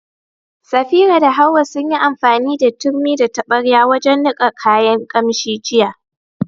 Safira da Hawwa sun yi amfani da turmi da taɓarya wajen niƙa kayan ƙamshi jiya.